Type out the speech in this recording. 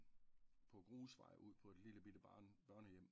På grusvej ud på et lille bitte barne børnehjem